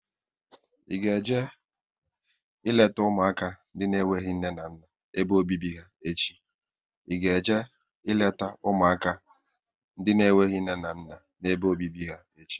Ị ga eje leta ụmụaka ndị n'enweghị nne na nna n'ebe obibi ha echi?